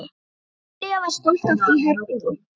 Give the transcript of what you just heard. Júlía var stolt af því herbergi.